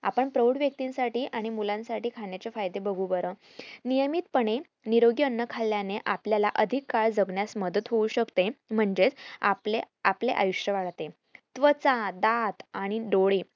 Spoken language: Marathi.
आपण प्रौढ व्य्नतीसाठी आणि मुलांसाठी खाण्याचे फायदे बघू बर नियमित पने निरोगी अन्न खाल्याने आपल्याला अधिक काळ जगण्यास मदत होऊ शकते म्हणजेच आपले आपले आयुष्य वाढते त्वचा, दात आणि डोळे